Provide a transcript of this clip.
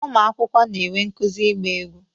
Ụmụ akwụkwọ a na-enwe nkuzi ịgba egwu